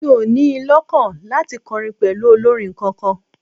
Mi ò ní in lọ́kàn láti kọrin pẹ̀lú olórin kankan